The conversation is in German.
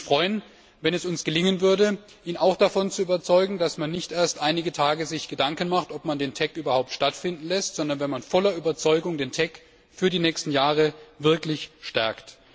Ich würde mich freuen, wenn es uns gelingen würde, ihn auch davon zu überzeugen, dass man nicht erst einige Tage zuvor sich Gedanken macht, ob man den TEC überhaupt stattfinden lässt, sondern dass man voller Überzeugung den TEC für die nächsten Jahre wirklich stärkt.